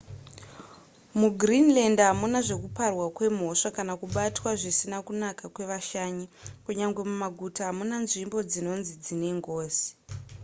mugreenland hamuna zvekuparwa kwemhosva kana kubatwa zvisina kunaka kwevashanyi kunyange mumaguta hamuna nzvimbo dzinonzi dzine ngozi